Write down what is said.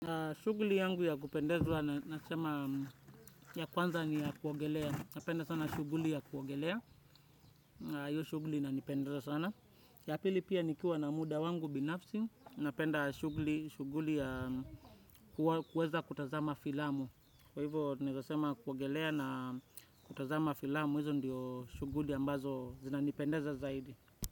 Shuguli yangu ya kupendezwa na sema ya kwanza ni ya kuogelea, napenda sana shuguli ya kuogelea, iyo shuguli nanipendeza sana. Yapili pia nikiwa na muda wangu binafsi, napenda shuguli ya kuweza kutazama filamu. Kwa hivyo, tunaweza sema kuogelea na kutazama filamu, hizo ndiyo shuguli ambazo zinanipendeza zaidi.